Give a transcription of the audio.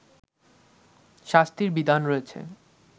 শাস্তির বিধান রয়েছে